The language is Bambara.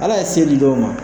Ala ye se di dɔw ma